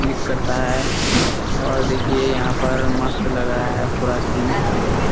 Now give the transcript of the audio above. उम्मीद करता है और देखिये यहाँ पर मस्त लग रहा है पूरा सिन ।